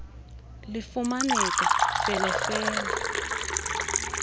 lifumaneka fele fele